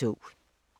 DR P3